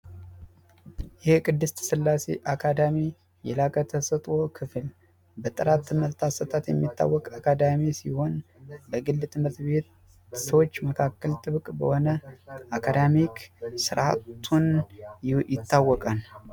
የቅድስት ስላሴ አካዳሚ የላቀ ተሰጦ ክፍል በጥራት ትምህርት አሰጣጥ የሚታወቅ ሲሆን በግል ትምህርት ቤት በሰዎች መካከል ጥብቅ በሆነ አካዳሚ ስርዓቱ ይታወቃል።